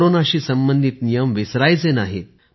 कोरोनाशी संबंधित नियम विसरायचे नाहीत